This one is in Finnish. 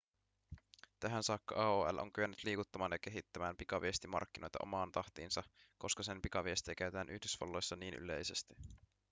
tähän saakka aol on kyennyt liikuttamaan ja kehittämään pikaviestimarkkinoita omaan tahtiinsa koska sen pikaviestejä käytetään yhdysvalloissa niin yleisesti